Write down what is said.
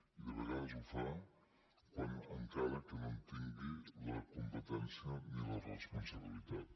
i de vegades ho fa encara que no en tingui la competència ni la responsabilitat